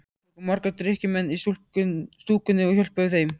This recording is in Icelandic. Við tókum marga drykkjumenn í stúkuna og hjálpuðum þeim.